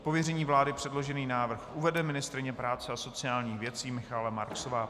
Z pověření vlády předložený návrh uvede ministryně práce a sociálních věcí Michaela Marksová.